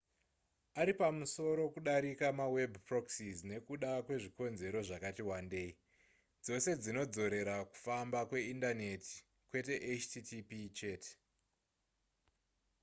ari pamusoro kudarika maweb proxies nekuda kwezvikonzero zvakati wandei dzose dzinodzorera kufamba kweindaneti kwete http chete